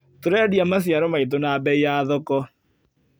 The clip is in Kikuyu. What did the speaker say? Tũrendia maciaro maitũ na bei ya thoko.